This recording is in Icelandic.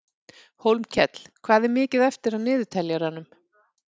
Hólmkell, hvað er mikið eftir af niðurteljaranum?